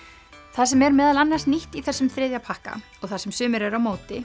það sem er meðal annars nýtt í þessum þriðja pakka og það sem sumir eru á móti